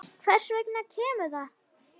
Hvers vegna kemur það?